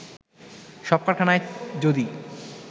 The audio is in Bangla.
সব কারখানায় যদি